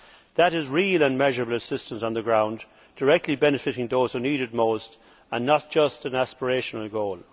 That is real and measurable assistance on the ground, directly benefiting those who need it most and not just an aspirational goal.